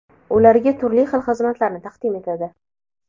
ularga turli xil xizmatlarni taqdim etadi.